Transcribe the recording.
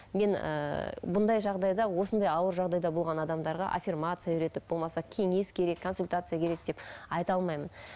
мен ыыы бұндай жағдайда осындай ауыр жағдайда болған адамдарға афермация үйретіп болмаса кеңес керек консультация керек деп айта алмаймын